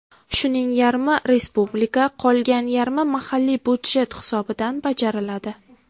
Shuning yarmi respublika, qolgan yarmi mahalliy budjet hisobidan bajariladi.